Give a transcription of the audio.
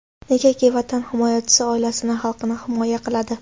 Negaki, Vatan himoyachisi oilasini, xalqini himoya qiladi.